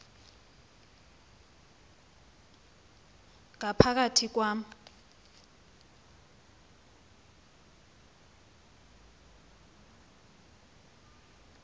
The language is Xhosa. ngapha kathi kwam